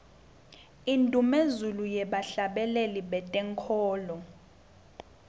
indumezulu yebahhlabeleli betenkholo